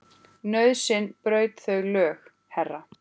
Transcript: Nauðsyn braut þau lög, herra.